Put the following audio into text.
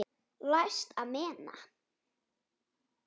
Læst amena.